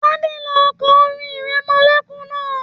Tade ló n kọ orin ìrẹmọlẹ́kún náà.